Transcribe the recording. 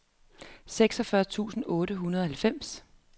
seksogfyrre tusind otte hundrede og halvfems